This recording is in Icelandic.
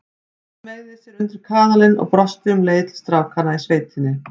Hún smeygði sér undir kaðalinn og brosti um leið til strákanna í sveitinni.